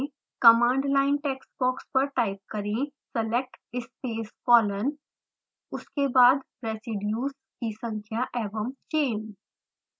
command line text box पर type करें select space colon उसके बाद रेज़िडियु की संख्या एवं chain